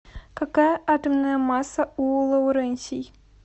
какая атомная масса у лоуренсий